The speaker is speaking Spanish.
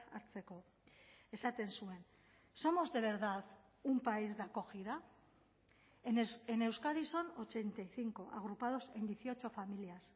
hartzeko esaten zuen somos de verdad un país de acogida en euskadi son ochenta y cinco agrupados en dieciocho familias